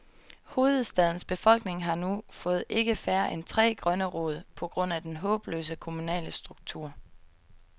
Hovedstadens befolkning har nu fået ikke færre end tre grønne råd, på grund af den håbløse, kommunale struktur.